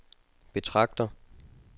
betragter